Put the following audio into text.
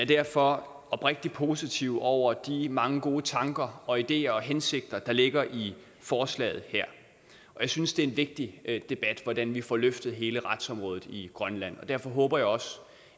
derfor oprigtig positiv over de mange gode tanker og ideer og hensigter der ligger i forslaget her og jeg synes det er en vigtig debat hvordan vi får løftet hele retsområdet i grønland og derfor håber jeg også